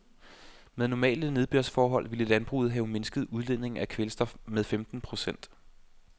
Med normale nedbørsforhold ville landbruget have mindsket udledningen af kvælstof med femten procent.